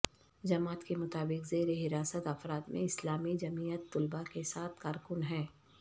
جماعت کے مطابق زیر حراست افراد میں اسلامی جمعیت طلبہ کے سات کارکن ہیں